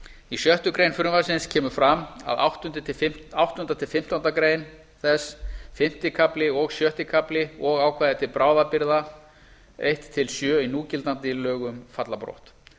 í sjöttu greinar frumvarpsins kemur fram að áttundi til fimmtándu greinar þess fimmti kafli og sjötti kafli og ákvæði til bráðabirgða eins til sjö í núgildandi lögum falla brott